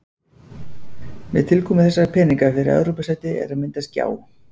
Með tilkomu þessara peninga fyrir Evrópusæti er að myndast gjá.